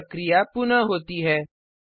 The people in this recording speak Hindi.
यह प्रक्रिया पुनः होती है